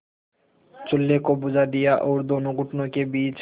चूल्हे को बुझा दिया और दोनों घुटनों के बीच